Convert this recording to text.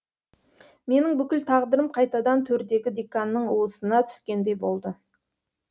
менің бүкіл тағдырым қайтадан төрдегі деканның уысына түскендей болды